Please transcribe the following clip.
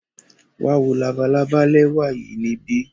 Wa wo labalaba lẹwa yii nibi.